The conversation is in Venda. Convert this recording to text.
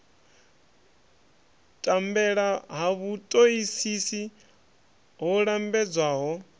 tambela ha vhutoisisi ho lambedzwaho